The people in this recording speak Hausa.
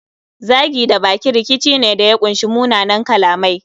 Zagi da baki rikici ne da ya kunshi munanan kalamai